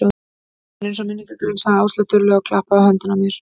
Þú hljómar eins og minningargrein sagði Áslaug þurrlega og klappaði á höndina á mér.